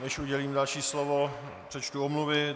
Než udělím další slovo, přečtu omluvy.